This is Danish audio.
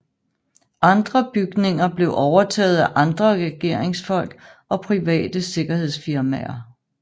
Andre bygninger blev overtaget af andre regeringsfolk og private sikkerhedsfirmaer